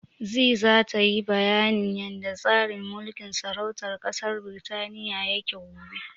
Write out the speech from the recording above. Zee zata yi bayanin yanda tsarin mulkin sarautar ƙasar Birtaniya yake gobe.